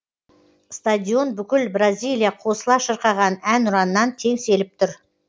стадион бүкіл бразилия қосыла шырқаған әнұраннан теңселіп тұр